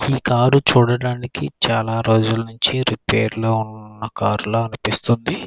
ఈ కారు చూడడానికి చాలా రోజులనించి రిపేర్లో ఉన్న కార్ల అనిపిస్తుంది.